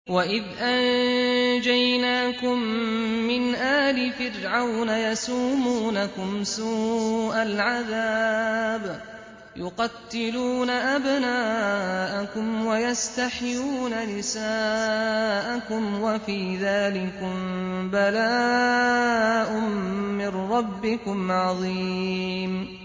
وَإِذْ أَنجَيْنَاكُم مِّنْ آلِ فِرْعَوْنَ يَسُومُونَكُمْ سُوءَ الْعَذَابِ ۖ يُقَتِّلُونَ أَبْنَاءَكُمْ وَيَسْتَحْيُونَ نِسَاءَكُمْ ۚ وَفِي ذَٰلِكُم بَلَاءٌ مِّن رَّبِّكُمْ عَظِيمٌ